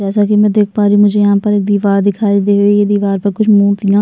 जैसा की मै देख पारी हु मुझे यहाँ पर एक दीवार दिखाई देरी है दीवार पर कुछ मूर्तियाँ --